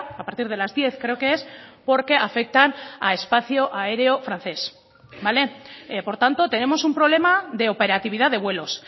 a partir de las diez creo que es porque afectan a espacio aéreo francés por tanto tenemos un problema de operatividad de vuelos